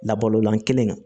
Labalolan kelen na